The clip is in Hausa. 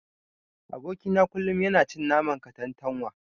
Aboki na kullun yana cin naman katantanwa.